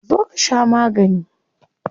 Zo ka sha magani.